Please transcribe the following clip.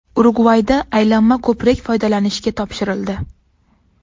Urugvayda aylanma ko‘prik foydalanishga topshirildi .